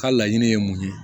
Ka laɲini ye mun ye